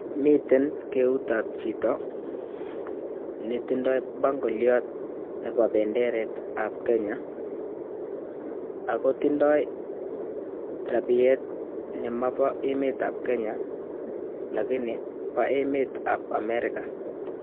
Miten Keunet ap chito netinye bangoliot nebo benderet ab Kenya ako tindoi rabiet ne mabo emet ap Kenya Lakini pa emet ap America